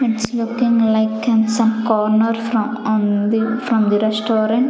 its looking like and some corner from on the from the restaurant.